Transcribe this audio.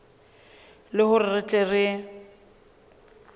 le hore re tle re